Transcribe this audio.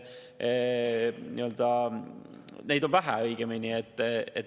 Neid on vähe, õigemini.